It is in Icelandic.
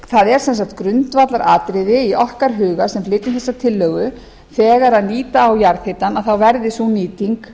það er sem sagt grundvallaratriði í okkar huga sem flytjum þessa tillögu þegar nýta á jarðhitann þá verði sú nýting